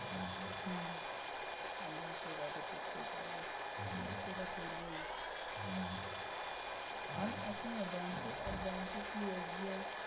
হম হম সেটা তো করতেই থাকবো সেটা করবোই আর শোন্ না আর ব্যাংকে আর ব্যাংকেও কি SBI.